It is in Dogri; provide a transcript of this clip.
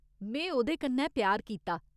में ओह्‌दे कन्नै प्यार कीता !